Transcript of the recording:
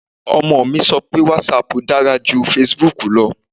Ọmọ mi sọ pé whatsapp dára ju facebook lọ